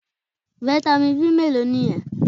Fitamin B mélòó nìyẹn?